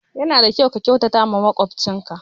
Ya na da kyau ka kyautata wa makwabcin ka